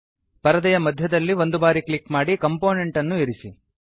ಪರದೆಯ ಮಧ್ಯದಲ್ಲಿ ಒಂದು ಬಾರಿ ಕ್ಲಿಕ್ ಮಾಡಿ ಕಂಪೋನೆಂಟ್ ಅನ್ನು ಇರಿಸಿ